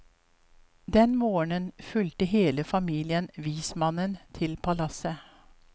Den morgen fulgte hele familien vismannen til palasset.